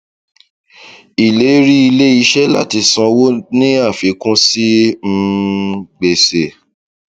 ìlérí ilé iṣẹ láti sanwó ni àfikún sí um gbèsè